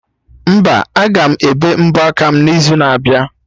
Mba, aga m ebe mbọ aka m n'izu na abịa